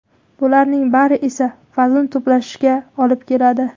Bularning bari esa vazn to‘plashga olib keladi.